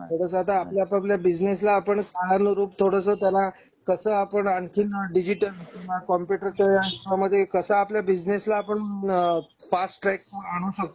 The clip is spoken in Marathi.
तो कसा आपला आपल्या बिजनेसला आपण बाहेरून रूप थोडा कसं आता आणखीन डिजिटल कॉम्प्युटर च्या ह्याचा मध्ये कसं आपण आपल्या बिसनेसला कसं आपण फास्ट ट्रॅक वर आणू शकतो?